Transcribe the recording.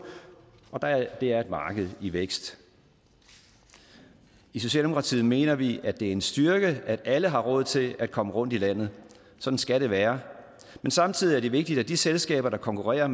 og det er et marked i vækst i socialdemokratiet mener vi at det er en styrke at alle har råd til at komme rundt i landet sådan skal det være men samtidig er det vigtigt at de selskaber der konkurrerer